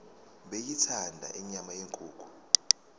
beyithanda inyama yenkukhu